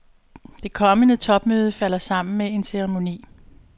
Det kommende topmøde falder sammen med en ceremoni.